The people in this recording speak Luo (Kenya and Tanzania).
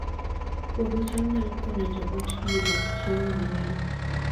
Puodho cham nyalo konyo joot yudo chiemo mang'eny